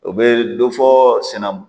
U bɛ dɔ fɔ senaan